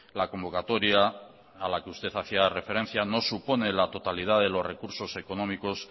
la convocatoria a la que usted hacía referencia no supone la totalidad de los recursos económicos